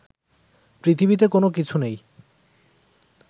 পৃথিবিতে কোনো কিছু নেই